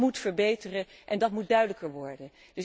Dat moet verbeteren en dat moet duidelijker worden.